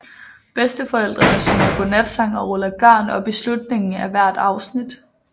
Bedsteforældrene synger godnatsang og ruller garn op i slutningen af hvert afsnit